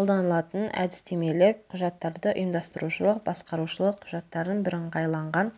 қолданылатын әдістемелік құжаттарды ұйымдастырушылық басқарушылық құжаттардың бірыңғайланған